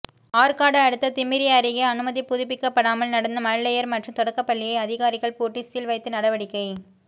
ஆற்காடு அடுத்த திமிரி அருகே அனுமதி புதுப்பிக்கப்படாமல் நடந்த மழலையர் மற்றும் தொடக்கப்பள்ளியை அதிகாரிகள் பூட்டி சீல் வைத்து நடவடிக்கை